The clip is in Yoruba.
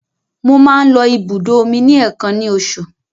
Mo máa ń lọ ibùdó omi ní èèkàn ní oṣù.